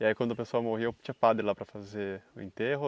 E aí quando a pessoa morria, tinha padre lá para fazer o enterro?